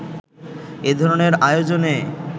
এ ধরনের আয়োজনে